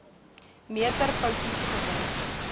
meter foutief geword